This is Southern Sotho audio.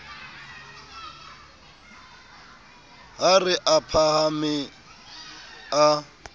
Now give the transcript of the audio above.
ha re a phahame a